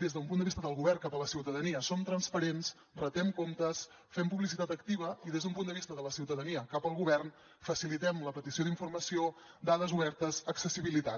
des d’un punt de vista del govern cap a la ciutadania som transparents retem comptes fem publicitat activa i des d’un punt de vista de la ciutadania cap al govern facilitem la petició d’informació dades obertes accessibilitat